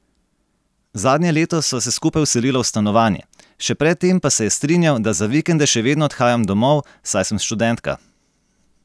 Zadnje leto sva se skupaj vselila v stanovanje, še pred tem pa se je strinjal, da za vikende še vedno odhajam domov, saj sem študentka.